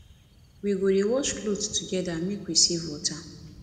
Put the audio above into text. we go dey wash clothes togeda make we save water